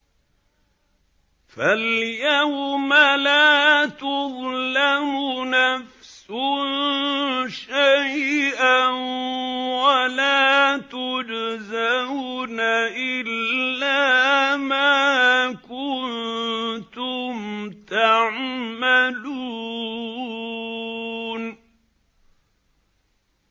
فَالْيَوْمَ لَا تُظْلَمُ نَفْسٌ شَيْئًا وَلَا تُجْزَوْنَ إِلَّا مَا كُنتُمْ تَعْمَلُونَ